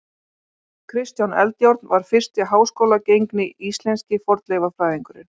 Kristján Eldjárn var fyrsti háskólagengni íslenski fornleifafræðingurinn.